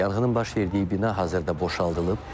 Yanğının baş verdiyi bina hazırda boşaldılıb.